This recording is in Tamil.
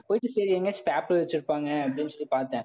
போயிட்டு சரி எங்கேயாச்சி வச்சிருப்பாங்க அப்பிடின்னு சொல்லி பார்த்தேன்